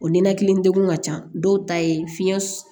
O ninakili degun ka ca dɔw ta ye fiɲɛ